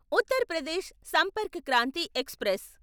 Uttar Pradesh Sampark Kranti express